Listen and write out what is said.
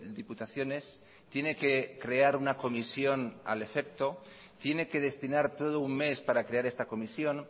diputaciones tiene que crear una comisión al efecto tiene que destinar todo un mes para crear esta comisión